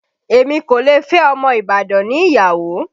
Èmi kò lè fẹ́ ọmọ Ibadan ni ìyàwó